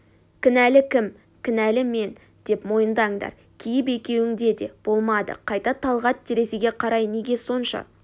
кінәлі кім кінәлі мен деп мойындаңдар кейіп екеуінде де болмады қайта талғат терезеге қарай неге сонша